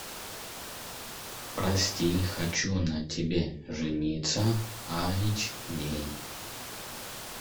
прости хочу на тебе жениться айч ди